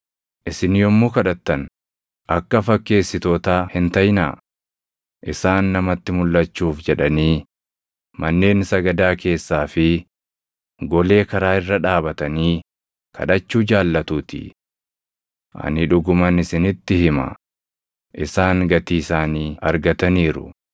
“Isin yommuu kadhattan akka fakkeessitootaa hin taʼinaa; isaan namatti mulʼachuuf jedhanii manneen sagadaa keessaa fi golee karaa irra dhaabatanii kadhachuu jaallatuutii. Ani dhuguman isinitti hima; isaan gatii isaanii argataniiru.